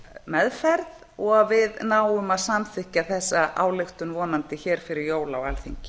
meðferð og að við náum að samþykkja þessa ályktun vonandi hér fyrir jól á alþingi